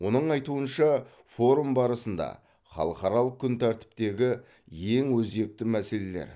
оның айтуынша форум барысында халықаралық күн тәртіптегі ең өзекті мәселелер